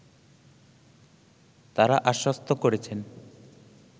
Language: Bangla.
তারা আশ্বস্ত করেছেন